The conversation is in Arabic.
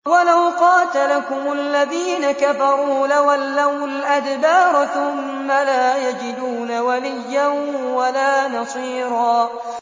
وَلَوْ قَاتَلَكُمُ الَّذِينَ كَفَرُوا لَوَلَّوُا الْأَدْبَارَ ثُمَّ لَا يَجِدُونَ وَلِيًّا وَلَا نَصِيرًا